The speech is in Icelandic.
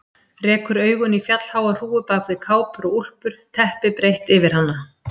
Rekur augun í fjallháa hrúgu bak við kápur og úlpur, teppi breitt yfir hana.